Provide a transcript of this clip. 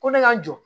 Ko ne ka jɔ